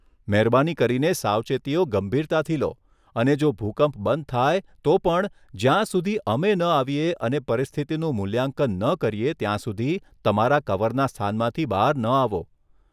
મહેરબાની કરીને સાવચેતીઓ ગંભીરતાથી લો અને જો ભૂકંપ બંધ થાય તો પણ, જ્યાં સુધી અમે ન આવીએ અને પરિસ્થિતિનું મૂલ્યાંકન ન કરીએ ત્યાં સુધી તમારા કવરના સ્થાનમાંથી બહાર ન આવો.